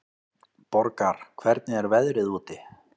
Borgar, hvernig er veðrið úti?